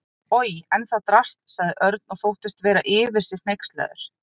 Oj, en það drasl sagði Örn og þóttist vera yfir sig hneykslaður.